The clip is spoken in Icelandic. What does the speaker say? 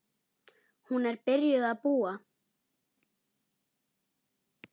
Hún er byrjuð að búa!